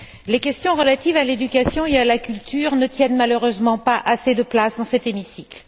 Les questions relatives à l'éducation et à la culture ne tiennent malheureusement pas assez de place dans cet hémicycle.